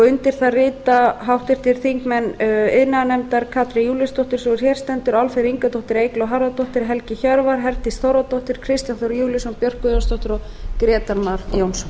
undir það rita háttvirtir þingmenn iðnaðarnefndar katrín júlíusdóttir sú er hér stendur álfheiður ingadóttir eygló harðardóttir helgi hjörvar herdís þórðardóttir kristján þór júlíusson björk guðjónsdóttir björk guðjónsdóttir og grétar mar jónsson